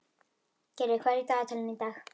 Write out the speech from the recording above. Gyrðir, hvað er í dagatalinu í dag?